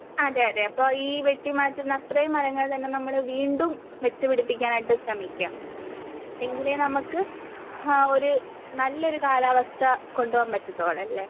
അതേ അതേ അപ്പോ മാറ്റുന്ന അത്രയും മരങ്ങൾ തന്നെ നമ്മൾ വീണ്ടും വെച്ചുപിടിപ്പിക്കാനായിട്ട് ശ്രമിക്കാം. എങ്കിലേ നമുക്ക് ആ ഒരു നല്ലൊരു കാലാവസ്ഥ കൊണ്ടുപോകാൻ പറ്റത്തൊള്ളൂ അല്ലേ?